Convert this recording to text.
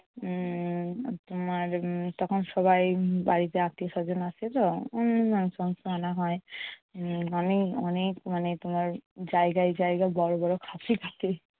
উম তোমার উম তখন সবাই উম বাড়িতে আত্মীয়স্বজন আসেতো। উম আনা হয়। মানে অনেক মানে তোমার জায়গায় জায়গায় বড় বড় খাশি থাকে।